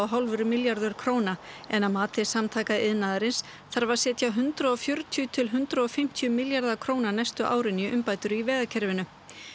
hálfur milljarður króna en að mati Samtaka iðnaðarins þarf að setja hundrað og fjörutíu til hundrað og fimmtíu milljarða króna næstu árin í umbætur í vegakerfinu